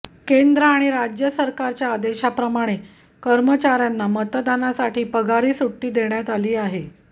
केंद्र आणि राज्य सरकारच्या आदेशाप्रमाणे कर्मचाऱ्यांना मतदानासाठी पगारी सुट्टी देण्यात आली आहे